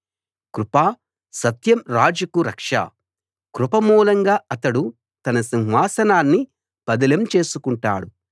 కృప సత్యం రాజుకు రక్ష కృప మూలంగా అతడు తన సింహాసనాన్ని పదిలం చేసుకుంటాడు